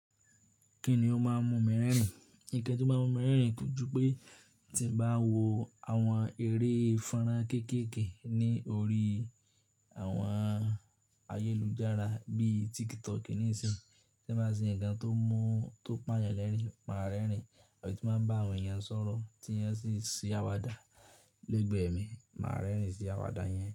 Kí ni ó máa ń mú mi rẹ́rìn? Ìkan tó máa ń mú mi rẹ́rìn kójú pé tí m bá wo àwọn eré fonron kéékèèké ní orí àwọn ayélujára bí i TikTok ní sìnyí, to bá ṣe ńǹkan tó pa yàn lẹ́rìn, màá rẹ́rìn. Àbí tí mo bá ń bá àwọn èèyàn sọ̀rọ̀ tí wọ́n sì ń ṣé àwàdà lẹ́gbẹ̀ẹ́ mi, màá rẹ́rìn sí àwàdà yẹn.